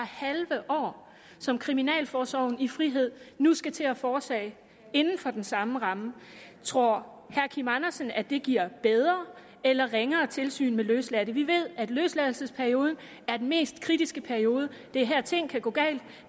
halve år som kriminalforsorgen i frihed nu skal til at foretage inden for den samme ramme tror herre kim andersen at det giver bedre eller ringere tilsyn med løsladte vi ved at løsladelseperioden er den mest kritiske periode det er her ting kan gå galt